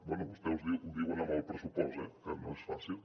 bé vostès ho diuen amb el pressupost eh que no és fàcil